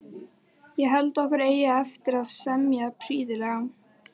Ég held okkur eigi eftir að semja prýðilega.